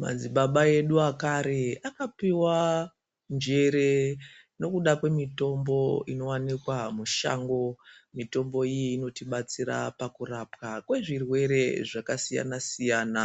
Madzibaba edu ekare akapiwa njere nokuda kwemitombo inowanikwa mushango, mitombo iyi inotibatsira pakurapwa kwezvirwere zvakasiyana siyana